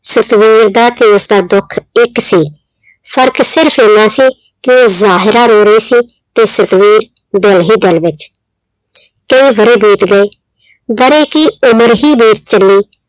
ਸਤਵੀਰ ਦਾ ਤੇ ਉਸਦਾ ਦੁੱਖ ਇੱਕ ਸੀ, ਫ਼ਰਕ ਸਿਰਫ਼ ਇੰਨਾ ਸੀ ਕਿ ਉਹ ਜ਼ਾਹਿਰਾ ਰੋ ਰਹੀ ਸੀ ਤੇ ਸਤਵੀਰ ਦਿਲ ਹੀ ਦਿਲ ਵਿੱਚ ਕਈ ਵਰ੍ਹੇ ਬੀਤ ਗਏ, ਵਰ੍ਹੇ ਕੀ ਉਮਰ ਹੀ ਬੀਤ ਚੱਲੀ।